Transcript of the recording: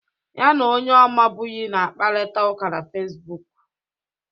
Ya na onye ọ mabughị na-akparịta ụka na Fesbuk.